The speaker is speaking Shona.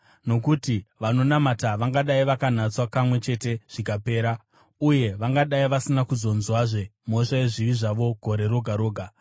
Nokuti vanonamata vangadai vakanatswa kamwe chete zvikapera, uye vangadai vasina kuzonzwazve mhosva yezvivi zvavo gore roga roga,